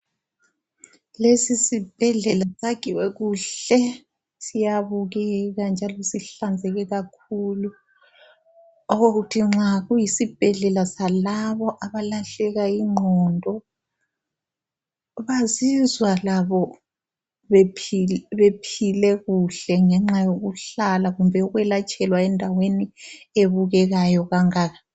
Lesisibhedlela sakhiwe kuhle. Siyabukeka njalo sihlanzeke kakhulu. Okokuthi nxa kuyisibhedlela salabo abalahleka ingqondo, bazizwa labo bephile kuhle ngenxa yokuhlala kumbe ukwelatshelwa endaweni ebukekayo kangaka.